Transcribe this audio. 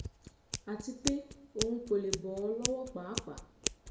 àti pé òun kò lè bọ́ ọ lọ́wọ́ páàpáà